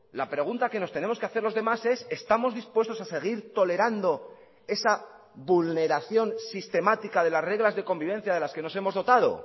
la pregunta que nos tenemos que hacer los demás es estamos dispuestos a seguir tolerando esa vulneración sistemática de las reglas de convivencia de las que nos hemos dotado